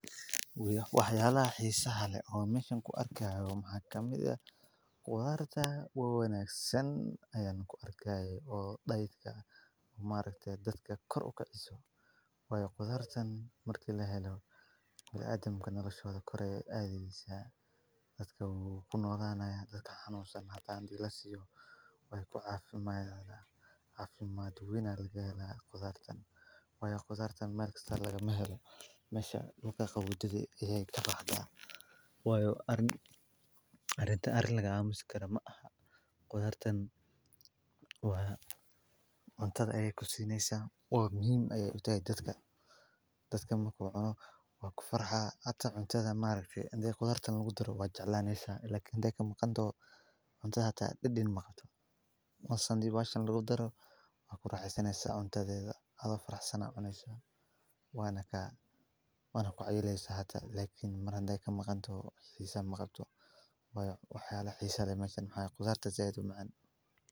Waxyalaha xisaaha leh oo meshan ku arkayo waxa kamid ah agab iyo macan ku arkaayo maxaamad guud ahaan ku dar ta waaweyneen senayaan ku arkaaya oo dhaydka maalintii dadka kor u ka ciso. Way ku dar tan marka la hayo ilaa adamka noloshooda korey aadeysa dadka uu ku noolaanaya dadka hanuusan hataanti lasiyo way ku caafimaaday caafimaad wayn looga helaa toban tan. Way toban tan marka isla laga maaxo mashaatiyada wadadii iyo tababarka. Way ar arinta ar lagaa muskara maaha toban tan waa cuntada ayay ku siineysaa oo muhiim ayay u tagay dadka. Dadka makano wa ku farxa ata cuntada maalintii. Hadee toban tan lagu daro wa jecelaaneysaa, laakin hadee ka maqan doo cuntada hata dhib dhin ma qabto. Ma cun sani baahan laga daro wa ku racaysanaysa cuntadaada hadoo farx sanaaconeysaa. Waanaka wana ku ciyeleysa hata. Lakiin mar hundee ka maqan doo xiisan ma qabto. Way waxyaabo la xiisaa macan.